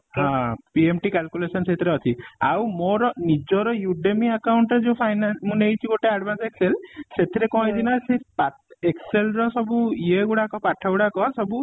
ହଁ PMT calculation ସେଥିରେ ଅଛି ଆଉ ମୋର ନିଜର Udemy account ରେ ଯୋଉ finance ମୁଁ ନେଇଛି ଗୋଟେ advance excel ସେଥିରେ କ'ଣ ହେଇଚି ନା ସେ ତା ସେ excel ର ସବୁ ଇଏ ଗୁଡାକ ପାଠ ଗୁଡାକ ସବୁ